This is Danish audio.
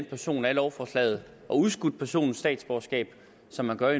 person af lovforslaget og udskudt personens statsborgerskab som man gør